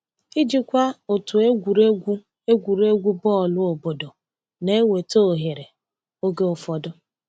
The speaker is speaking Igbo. Ijikwa otu egwuregwu egwuregwu bọọlụ obodo na-eweta ohere oge ụfọdụ.